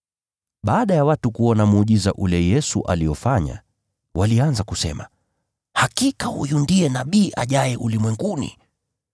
Baada ya watu kuona muujiza ule Yesu aliofanya, walianza kusema, “Hakika huyu ndiye Nabii ajaye ulimwenguni!”